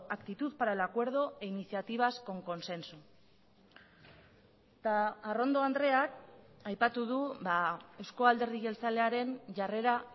actitud para el acuerdo e iniciativas con consenso eta arrondo andreak aipatu du euzko alderdi jeltzalearen jarrera